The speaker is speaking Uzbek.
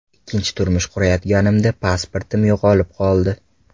Ikkinchi turmush qurayotganimda pasportim yo‘qolib qoldi.